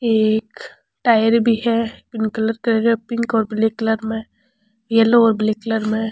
एक टायर भी है येलो और ब्लैक कलर में --